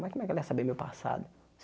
Mas como ela ia saber meu passado?